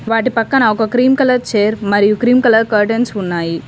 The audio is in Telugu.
వాటి పక్కన ఒక క్రీమ్ కలర్ చైర్ మరియు క్రీమ్ కలర్ కర్టెన్స్ ఉన్నాయి.